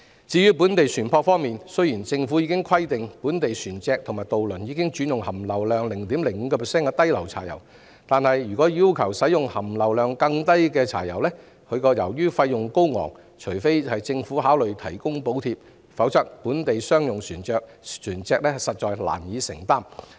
至於本地船舶方面，政府已規定本地船隻和渡輪轉用含硫量 0.05% 的低硫柴油，但如進一步要求本地船舶使用含硫量更低的柴油，由於費用高昂，除非政府考慮提供補貼，否則本地商用船隻實在難以負擔。